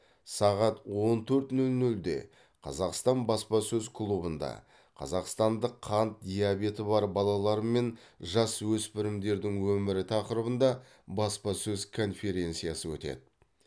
сағат он төрт нөл нөлде қазақстан баспасөз клубында қазақстанды қант диабеті бар балалар мен жасөспірімдердің өмірі тақырыбында баспасөз конференциясы өтеді